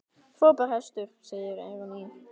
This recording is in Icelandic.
Frábær hestur, segir Eyrún Ýr.